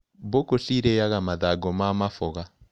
Mbũkũ cirĩaga mathango ma maboga.